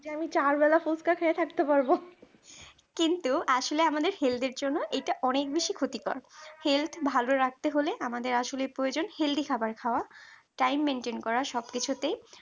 যে আমি চার বেলা ফুচকা খেয়ে থাকতে পারব কিন্তু আসলে আমাদের health এর জন্য এটা অনেক বেশি ক্ষতিকর health ভালো রাখা তে হলে আমাদের আসলে প্রয়োজন healthy খাবার খাওয়া time maintain করা সব কিছুতেই